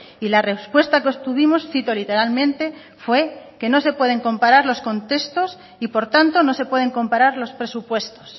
y la respuesta que obtuvimos cito literalmente fue no se pueden comparar los contextos y por tanto no se pueden comparar los presupuestos